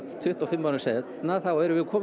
tuttugu og fimm árum síðar erum við komin